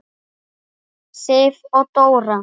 Sif og Dóra.